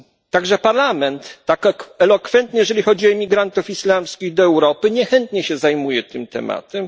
Także Parlament tak elokwentny, jeżeli chodzi o imigrantów islamskich do Europy niechętnie zajmuje się tym tematem.